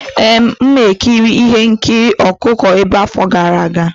Ee, m ekiri ihe nkiri ọkụkọ obere afọ gara aga.